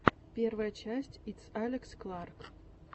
первая часть итс алекс кларк